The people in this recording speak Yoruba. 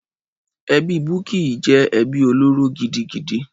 Ẹbí Bukky jẹ́ ẹbí olóró gidigidi.